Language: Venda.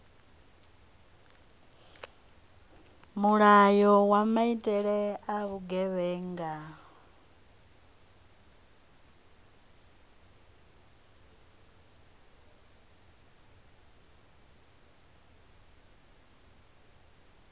mulayo wa maitele a vhugevhenga